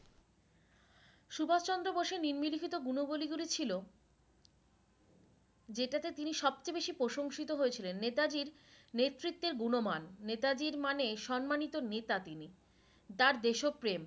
সুভাষ চন্দ্র বোসের নিন্মলিখিত গুনাবলি গুলি ছিলো যেটাতে তিনি সবচেয়ে বেশি প্রশংসিত হয়েছিলেন নেতাজীর নেতৃত্বের গুনমান নেতাজির মানে সম্মানিত নেতা তিনি তার দেশ প্রেম